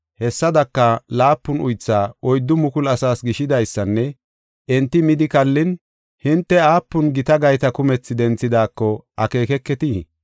Hessadaka, laapun uythaa oyddu mukulu asaas gishidaysanne enti midi kallin, hinte aapun gita gayta kumethi denthidaako akeekeketii?